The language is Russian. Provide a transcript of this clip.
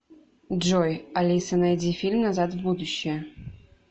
джой алиса найди фильм назад в будущее